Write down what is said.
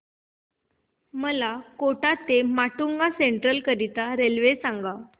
मला कोटा ते माटुंगा सेंट्रल करीता रेल्वे सांगा